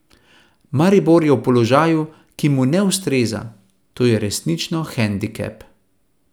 Maribor je v položaju, ki mu ne ustreza, to je resnično hendikep.